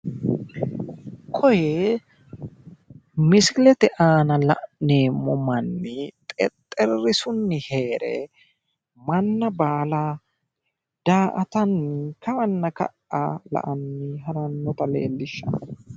Koye misilete aana la'neemmo manni xexxerisunni heere manna baala daa"atanni kawanna ka''a la"anni harannota leellishshanno.